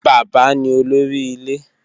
Baba ni olori ile